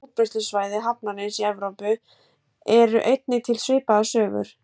Víða á útbreiðslusvæði hafarnarins í Evrópu eru einnig til svipaðar sögur.